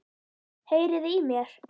Heyriði í mér?